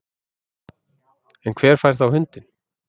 En hver fær þá hundinn